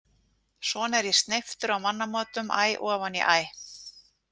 Svona er ég sneyptur á mannamótum æ ofan í æ.